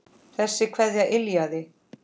Þessi kveðja yljaði.